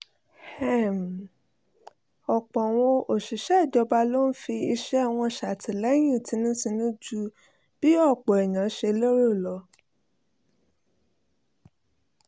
ọ̀pọ̀ àwọn òṣìṣẹ́ ìjọba ló ń fi iṣẹ́ wọn ṣàtìlẹyìn tinútinú ju bí ọ̀pọ̀ èèyàn ṣe lérò lọ